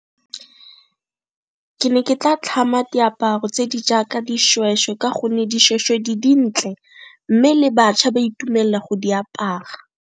Ke ne ke tla tlhama diaparo tse di jaaka dishweshwe ka gonne dishweshwe di dintle mme le batšha ba itumella go di apara.